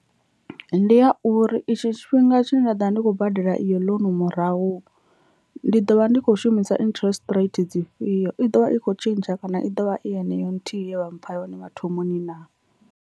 Ndi ya uri itsho tshifhinga tshine nda ḓo vha ndi khou badela iyo ḽounu murahu ndi ḓo vha ndi kho shumisa interest rate dzifhio i ḓovha i kho tshintsha kana i ḓovha i heneyo nthihi ye vha mpha yone mathomoni naa.